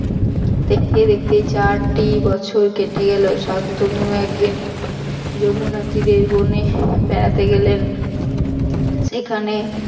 দেখতে দেখতে চারটি বছর কেটে গেল শান্তনু একদিন যমুনা তীরের বনে বেড়াতে গেলেন সেখানে